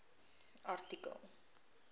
artikel